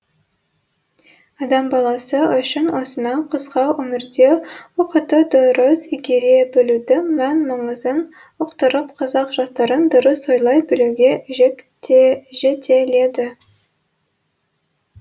адам баласы үшін осынау қысқа өмірде уақытты дұрыс игере білудің мән маңызын ұқтырып қазақ жастарын дұрыс ойлай білуге жетеледі